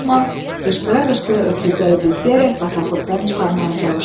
Bosman qışqıra-qışqıra öküzləri bizdiyərək bataqlıqdan çıxarmağa çalışdı.